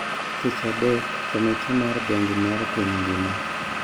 Tich Adek, komiti mar Bengi mar piny ngima